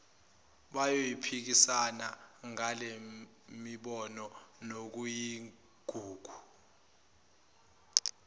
bayophikisana ngalemibono nokuyigugu